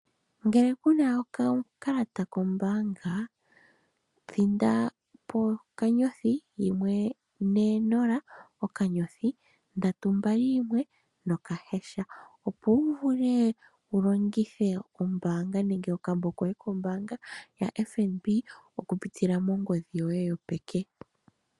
Ngele kuna okakalata kombaanga, thinda po *140*321# opo wu vule wulongithe oombanga nenge okambo koye koombanga ya FNB oku pitila mongodhi yoye yo peke.